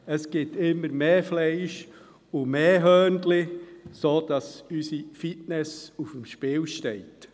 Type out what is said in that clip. Es gibt immer mehr Fleisch und mehr Hörnli, sodass unserer Fitness auf dem Spiel steht.